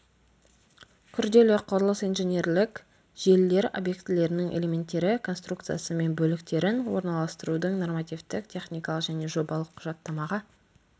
күрделі құрылыс инженерлік желілер объектілерінің элементтері конструкциясы мен бөліктерін орналастырудың нормативтік техникалық және жобалық құжаттамаға